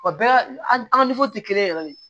Wa bɛɛ an ka tɛ kelen ye yɛrɛ de